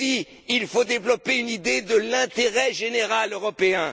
Ici, il faut développer l'idée de l'intérêt général européen.